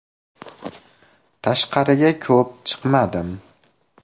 Tashqariga ko‘p chiqmadim.